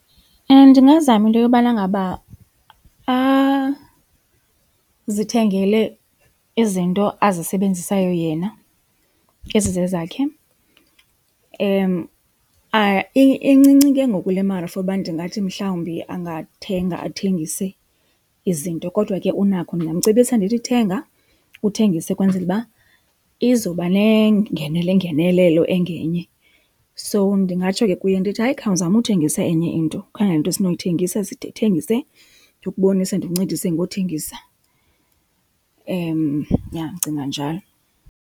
Ndingazama into yobana ngaba azithengele izinto azisebenzisayo yena ezizezakhe. Incinci ke ngoku le mali for uba ndingathi mhlawumbi angathenga athengise izinto kodwa ke unakho ndingamcebisa ndithi thenga uthengise ukwenzela uba izoba nengenelo nengenelelo engenye. So ndingatsho ke kuye ndithi hayi khawuzame uthengisa enye into, ukhangele into esinoyithengisa sithengise, ndikubonise ndikuncedise ngothengisa. Yha ndicinga njalo.